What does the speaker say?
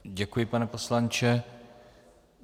Děkuji, pane poslanče.